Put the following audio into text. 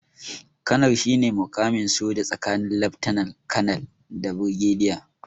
Kanar shine muƙamin soja tsakanin laftanar- kanar da birgediya.